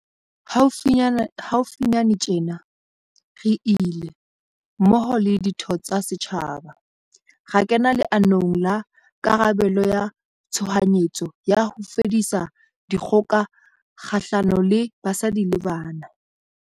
Haufinyane tjena, re ile, mmoho le ditho tsa setjhaba, ra kena leanong la karabelo ya tshohanyetso ya ho fedisa dikgoka kgahlano le basadi le bana.